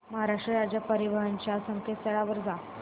महाराष्ट्र राज्य परिवहन च्या संकेतस्थळावर जा